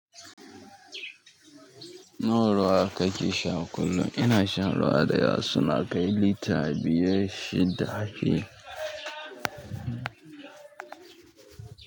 Na ruwa ka ci shan kullum? Ina shan ruwa da yawa, suna kai lita biyar shida fiye.